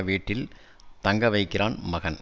வீட்டில் தங்க வைக்கிறான் மகன்